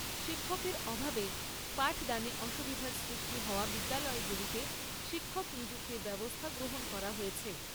শিক্ষকের অভাবে পাঠদানে অসুবিধার সৃষ্টি হওয়া বিদ্যালয়গুলিতে শিক্ষক নিযুক্তির ব্যবস্থা গ্রহণ করা হয়েছে।